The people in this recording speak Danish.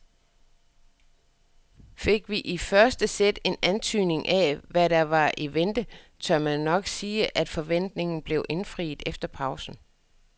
Fik vi i første sæt en antydning af hvad der var i vente, tør man nok sige at forventningerne blev indfriet efter pausen.